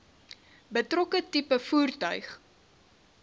betrokke tipe voertuig